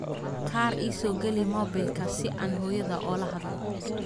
Kaar iisogalix mobilka sii aan xoyodhaa oo lahadhlo.